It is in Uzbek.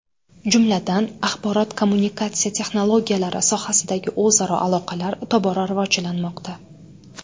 Jumladan, axborot-kommunikatsiya texnologiyalari sohasidagi o‘zaro aloqalar tobora rivojlanmoqda.